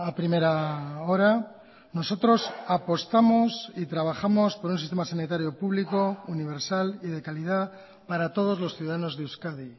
primera hora nosotros apostamos y trabajamos por un sistema sanitario público universal y de calidad para todos los ciudadanos de euskadi